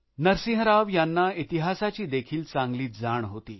नरसिंह राव यांना इतिहासाची देखील चांगली जाण होती